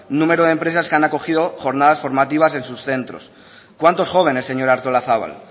número de empresas que han acogido jornadas formativas en sus centros cuántos jóvenes señora artolazabal